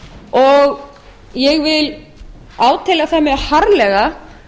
og ég vil átelja það mjög harðlega